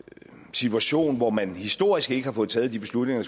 situation hvor man historisk ikke har fået taget de beslutninger